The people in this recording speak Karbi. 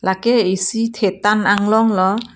lake isi thetan anglong lo.